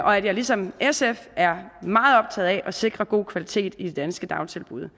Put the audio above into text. og at jeg ligesom sf er meget optaget af at sikre god kvalitet i de danske dagtilbud